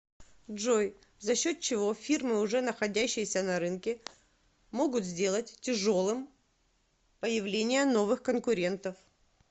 джой за счет чего фирмы уже находящиеся на рынке могут сделать тяжелым появление новых конкурентов